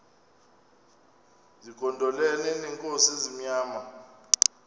zigondelene neenkosi ezimnyama